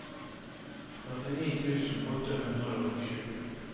førtini tusen åtte hundre og sju